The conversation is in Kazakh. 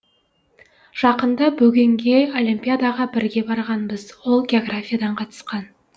жақында бөгенге олимпиадаға бірге барғанбыз ол географиядан қатысқан